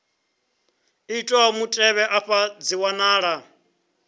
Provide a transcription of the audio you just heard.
itwaho mutevhe afha dzi wanala